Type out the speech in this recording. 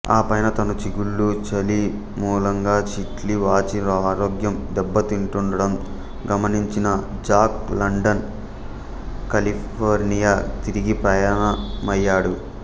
ఆపైన తన చిగుళ్ళు చలి మూలంగా చిట్లి వాచి ఆరోగ్యం దెబ్బతింటూండడం గమనించిన జాక్ లండన్ కాలిఫోర్నియా తిరిగి ప్రయాణమయ్యాడు